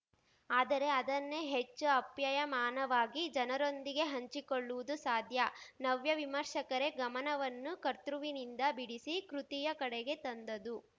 ಆದರೆ ಅದನ್ನೇ ಹೆಚ್ಚು ಆಪ್ಯಾಯಮಾನವಾಗಿ ಜನರೊಂದಿಗೆ ಹಂಚಿಕೊಳ್ಳುವುದು ಸಾಧ್ಯ ನವ್ಯ ವಿಮರ್ಶಕರೇ ಗಮನವನ್ನು ಕರ್ತೃವಿನಿಂದ ಬಿಡಿಸಿ ಕೃತಿಯ ಕಡೆಗೆ ತಂದದು